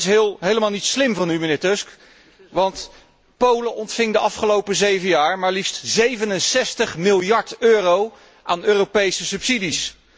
Dat is helemaal niet slim van u, mijnheer Tusk, want Polen ontving de afgelopen zeven jaar maar liefst 67 miljard euro aan Europese subsidies.